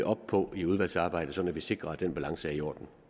op på i udvalgsarbejdet sådan at vi sikrer at den balance er i orden